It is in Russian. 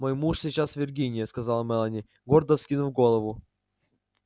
мой муж сейчас в виргинии сказала мелани гордо вскинув голову